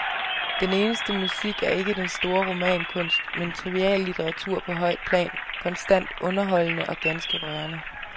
Den eneste musik er ikke den store romankunst, men triviallitteratur på højt plan, konstant underholdende og ganske rørende.